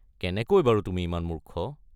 কেনেকৈ বাৰু তুমি ইমান মূৰ্খ?